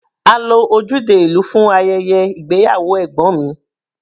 A lo ojúde ìlú fún ayẹyẹ ìgbéyàwó ẹ̀gbọ́n mi.